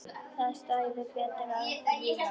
Það stæði betur að vígi.